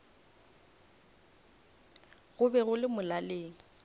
go be go le molaleng